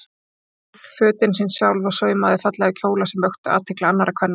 Hún sneið fötin sín sjálf og saumaði fallega kjóla sem vöktu athygli annarra kvenna.